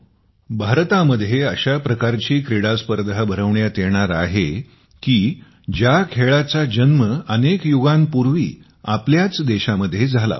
भारतामध्ये अशा प्रकारची क्रीडास्पर्धा भरविण्यात येणार आहे की ज्या खेळाचा जन्म अनेक युगांपूर्वी आपल्याच देशामध्ये झाला होता